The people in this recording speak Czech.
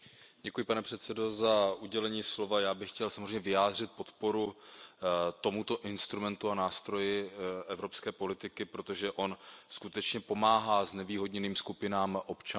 Pane předsedající, já bych chtěl samozřejmě vyjádřit podporu tomuto instrumentu a nástroji evropské politiky, protože on skutečně pomáhá znevýhodněným skupinám občanů.